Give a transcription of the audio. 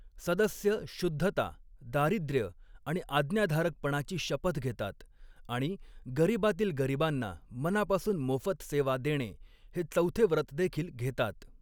सदस्य शुद्धता, दारिद्र्य आणि आज्ञाधारकपणाची शपथ घेतात आणि 'गरीबातील गरीबांना मनापासून मोफत सेवा' देणे हे चौथे व्रतदेखील घेतात.